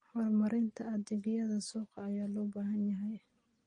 Horumarinta adeegyada suuqa ayaa loo baahan yahay.